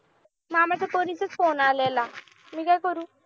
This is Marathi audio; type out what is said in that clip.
मामा च्या पोरीचा phone आलेला. मी काय करू